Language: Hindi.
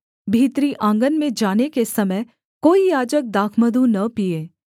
भीतरी आँगन में जाने के समय कोई याजक दाखमधु न पीए